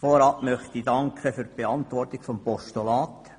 Vorab danke ich für die Beantwortung des Postulats.